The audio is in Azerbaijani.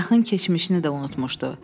Yaxın keçmişini də unutmuşdu.